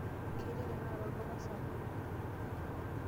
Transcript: Kitii tenakata olduka sapuk.